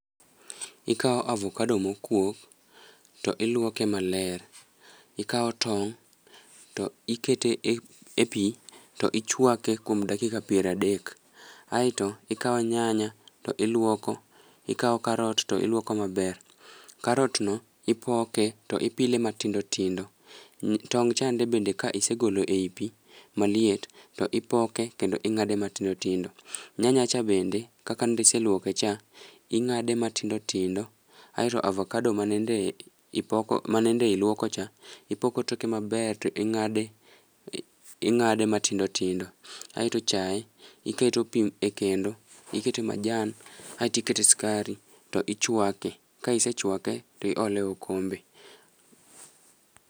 Ikao avokado mokuok to iluoke maler, ikao tong' to ikete e e pi to ichwake kuom kakika piradek. Aeto ikawo nyanya to iluoko, ikawo karot to iluoko maber, karot no ipoke to ipile matindo tindo. Tong' chande be ka isegolo ei pi maliet to ipoke kendo ing'ade matindo tindo. Nyanya cha bende, kaka nende iseluoke cha, ing'ade matindo tindo. Aeto avakado ma nende ipoko ma nende iluoko cha, ipoko toke maber to ing'ade ing'ade ma tindo tindo. Aeto chae, iketo pi e kendo, ikete majan aeti kete skari, tichwake. Ka isechwake, tiole okombe.